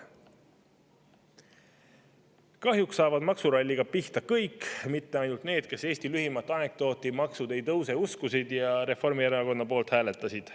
Kahjuks saavad maksuralliga pihta kõik, mitte ainult need, kes Eesti lühimat anekdooti "Maksud ei tõuse" uskusid ja Reformierakonna poolt hääletasid.